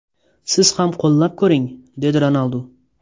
Siz ham qo‘llab ko‘ring!”, dedi Ronaldu.